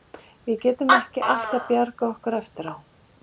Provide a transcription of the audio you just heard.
Við getum ekki alltaf bjargað okkur eftir á.